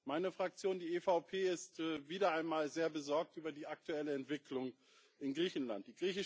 Meine Fraktion, die EVP, ist wieder einmal sehr besorgt über die aktuelle Entwicklung in Griechenland.